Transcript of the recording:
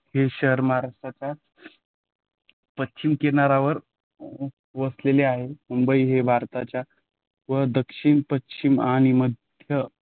हे शहर महाराष्ट्राच्या पश्चिम किनाऱ्यावर वसलेले आहे. मुंबई हे भारताच्या व दक्षिण पश्चिम आणि मध्य